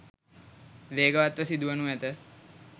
වේගවත් ව සිදු වනු ඇත.